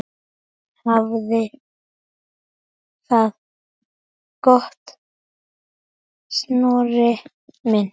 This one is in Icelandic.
Hafðu það gott, Snorri minn.